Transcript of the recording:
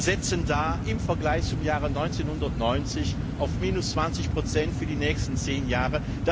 Wir setzen da im Vergleich zum Jahr 1990 auf minus 20 für die nächsten zehn Jahre.